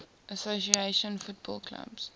association football clubs